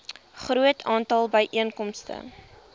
groot aantal byeenkomste